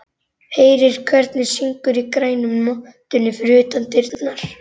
Heyrir hvernig syngur í grænu mottunni fyrir utan dyrnar.